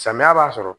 Samiya b'a sɔrɔ